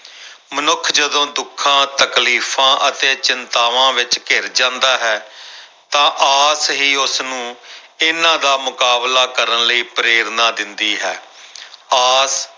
ਮਨੁੱਖ ਜਦੋਂ ਦੁੱਖਾਂ ਤਕਲੀਫ਼ਾਂ ਅਤੇ ਚਿੰਤਾਵਾਂ ਵਿੱਚ ਘਿਰ ਜਾਂਦਾ ਹੈ ਤਾਂ ਆਸ ਹੀ ਉਸਨੂੰ ਇਹਨਾਂ ਦਾ ਮੁਕਾਬਲਾ ਕਰਨ ਲਈ ਪ੍ਰੇਰਨਾ ਦਿੰਦੀ ਹੈ ਆਸ